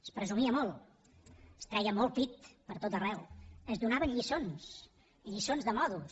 es presumia molt es treia molt pit pertot arreu es donaven lliçons lliçons de maneres